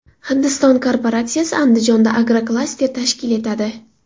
Hindiston korporatsiyasi Andijonda agroklaster tashkil etadi.